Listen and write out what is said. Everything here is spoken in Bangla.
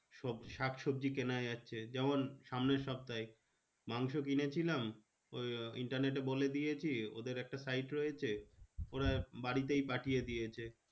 সব শাকসবজি কেনা যাচ্ছে। যেমন সামনের সপ্তাহে, মাংস কিনে ছিলাম। ওই internet এ বলে দিয়েছি, ওদের একটা site রয়েছে। ওরা বাড়িতেই পাঠিয়ে দিয়েছে।